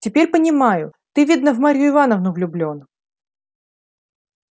теперь понимаю ты видно в марью ивановну влюблён